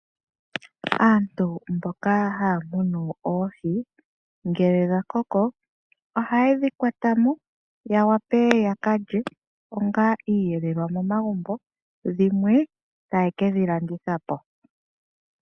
Aantu mboka haya munu oohi, ngele dha koko lhaye dhi kwata mo ya wape ya ka lye onga iiyelelwa momagumbo. Dhimwe taye kedhi landitha po.